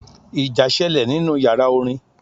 Ìjà sẹlẹ̀ nínú yàrá orin.